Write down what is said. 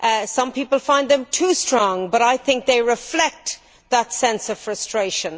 Some people find them too strong, but I think they reflect that sense of frustration.